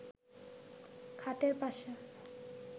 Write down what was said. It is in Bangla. খাটের পাশে